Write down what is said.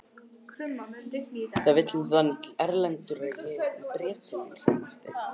Það vill nú þannig til Erlendur að ég er með bréf til þín, sagði Marteinn.